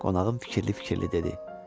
Qonağım fikirli-fikirli dedi.